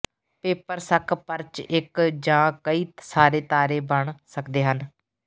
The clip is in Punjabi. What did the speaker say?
ਪੇਪਰ ਸੱਕ ਪਰਚ ਇੱਕ ਜਾਂ ਕਈ ਸਾਰੇ ਤਾਰੇ ਬਣ ਸਕਦੇ ਹਨ